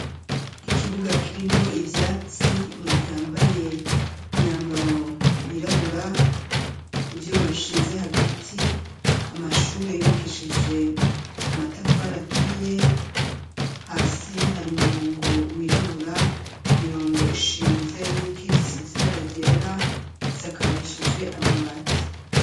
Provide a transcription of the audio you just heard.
Ikibuga, kirimwo ivyatsi, umuntu yambaye, imyambaro yirabura, ivyuma bishinze hagati, amashure yubakishije, amatafari aturiye, hasi hari umurongo wirabura, imirongo ishinze, n'iyikitse, isize ibara ryera, isakarishije amabati.